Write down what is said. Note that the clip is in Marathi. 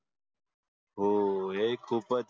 हो ही खूपच